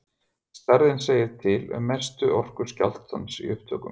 Stærðin segir til um mestu orku skjálftans í upptökum.